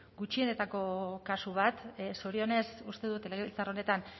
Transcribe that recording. gutxienetako kasu bat zorionez uste dut legebiltzar honetan